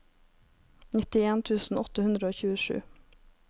nittien tusen åtte hundre og tjuesju